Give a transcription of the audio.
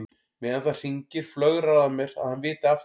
Meðan það hringir flögrar að mér að hann viti af þeim.